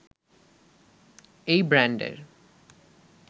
এই ব্র্যান্ডের